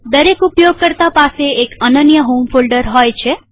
દરેક ઉપયોગકર્તા પાસે એક અનન્ય હોમ ફોલ્ડર હોય છે